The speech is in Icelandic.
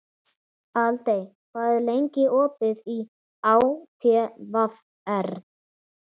Aldey, hvað er lengi opið í ÁTVR?